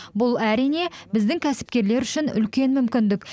бұл әрине біздің кәсіпкерлер үшін үлкен мүмкіндік